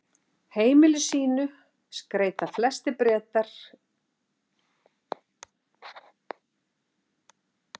heimili sín skreyta flestir bretar um miðjan desember og jafnvel fyrr